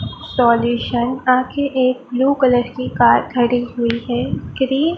solution ता कि एक ब्लू कलर कि कार खड़ी हुई हैं ग्रीन --